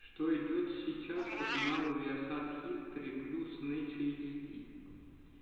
что идёт сейчас по каналу виасат хистори плюс нэйчи эйч ди